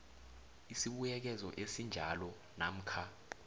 isibuyekezo esinjalo namkha